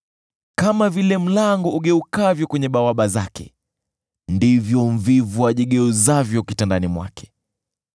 Kama vile mlango ugeukavyo kwenye bawaba zake, ndivyo mvivu ajigeuzavyo kitandani mwake.